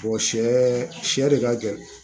sɛ sɛ de ka gɛlɛn